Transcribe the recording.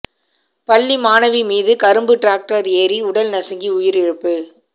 பள்ளி மாணவி மீது கரும்பு டிராக்டர் ஏரி உடல் நசுங்கி உயிரிழப்பு